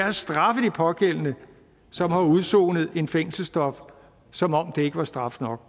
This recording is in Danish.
at straffe de pågældende som har udsonet en fængselsdom som om det ikke var straf nok